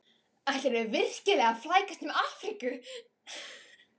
Ætlarðu virkilega að flækjast um Afríku?